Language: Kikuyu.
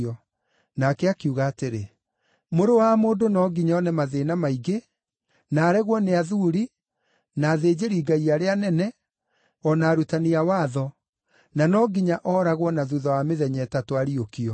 Nake akiuga atĩrĩ, “Mũrũ wa Mũndũ no nginya one mathĩĩna maingĩ, na aregwo nĩ athuuri, na athĩnjĩri-Ngai arĩa anene, o na arutani a watho, na no nginya ooragwo na thuutha wa mĩthenya ĩtatũ ariũkio.”